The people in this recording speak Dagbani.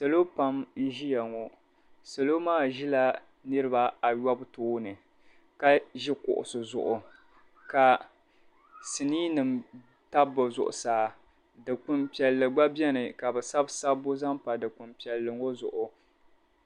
Salo pam n-ʒia ŋɔ. Salo maa ʒila niriba ayɔbu tooni ka ʒi kuɣisi zuɣu ka siniinima tabi bɛ zuɣusaa. Dikpini piɛlli gba beni ka bɛ sabi sabbu zaŋ pa dikpini piɛlli ŋɔ zuɣu.